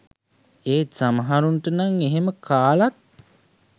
ඒත් සමහරුන්ට නං එහෙම කාලත්